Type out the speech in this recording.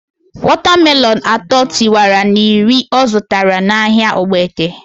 Wata melonu atọ tiwara na iri ọ zụtara na ahịa Ogbete